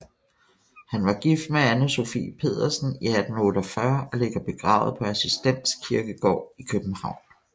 Han var gift med Ane Sophie Pedersen i 1848 og ligger begravet på Assistens Kirkegård i København